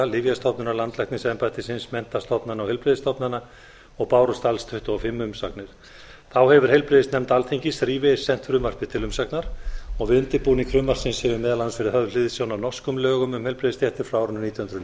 lyfjastofnunar landlæknisembættisins menntastofnana og heilbrigðisstofnana og bárust alls tuttugu og fimm umsagnir þá hefur heilbrigðisnefnd alþingis þrívegis sent frumvarpið til umsagnar við undirbúning frumvarpsins hefur meðal annars verið höfð hliðsjón af norskum lögum um heilbrigðisstéttir frá árinu nítján hundruð